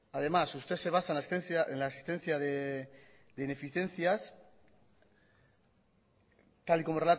además usted se basa en la existencia de ineficiencias tal y como